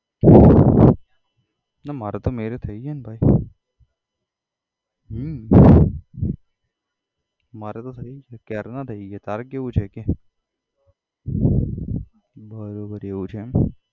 ના મારે તો marriage થઇ ગયા ને ભાઈ હમ મારા તો થઇ ગયા ક્યારના થઇ ગયા તારે કેવું છે કે બરોબર એવું છે એમ